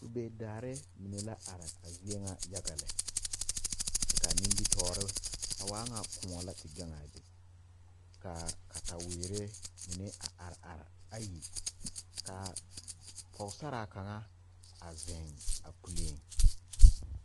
Vūū daare mine la are a zie ŋa e yaga lɛ kaa nimitoore a waa ŋa kõɔ la te gaŋaa be kaa katawerre mine a are are ayi kaa pɔɔsaraa kaŋa a zeŋ a puleeŋ.